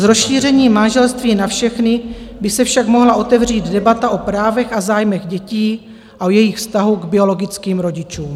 S rozšířením manželství na všechny by se však mohla otevřít debata o právech a zájmech dětí a o jejich vztahu k biologickým rodičům.